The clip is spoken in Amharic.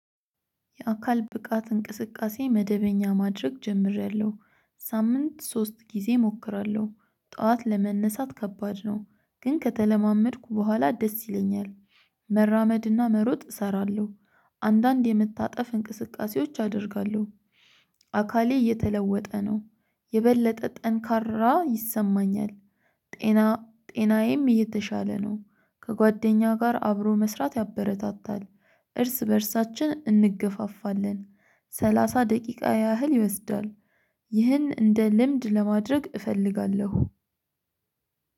የአካል ብቃት እንቅስቃሴ መደበኛ ማድረግ ጀምሬያለሁ። ሳምንት ሶስት ጊዜ እሞክራለሁ። ጠዋት ለመነሳት ከባድ ነው። ግን ከተለማመድኩ በኋላ ደስ ይለኛል። መራመድና መሮጥ እሰራለሁ። አንዳንድ የምታጠፍ እንቅስቃሴዎች አደርጋለሁ። አካሌ እየተለወጠ ነው። የበለጠ ጠንካራ ይሰማኛል። ጤናዬም እየተሻለ ነው። ከጓደኛ ጋር አብሮ መስራት ያበረታታል። እርስ በእርሳችን እንገፋፋለን። ሰላሳ ደቂቃ ያህል ይወስዳል። ይህን እንደ ልምድ ለማድረግ እፈልጋለሁ።